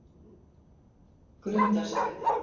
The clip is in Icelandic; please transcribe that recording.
Grundarstræti